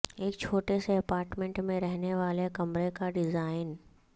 ایک چھوٹے سے اپارٹمنٹ میں رہنے والے کمرہ کا ڈیزائن